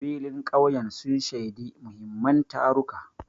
Filin ƙauyen sun shaidi muhimman taruka.